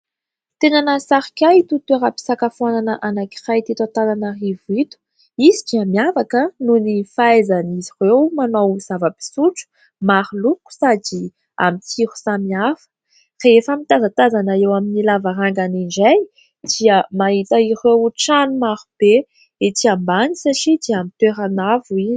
Tena nahasarika ahy ito toeram-pisakafoanana anankiray teto Antananarivo ito ; izy dia miavaka noho ny fahaizan'izy ireo manao zava-pisotro maro loko sady amin'ny tsiro samihafa. Rehefa mitazatazana eo amin'ny lavarangana indray dia mahita ireo trano marobe etsy ambany satria dia amin'ny toerana avo izy.